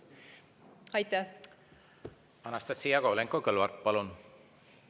Anastassia Kovalenko-Kõlvart, palun!